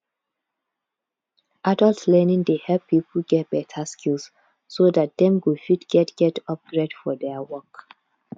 adult learning dey help pipo get better skills so dat dem go fit get get upgrade for their work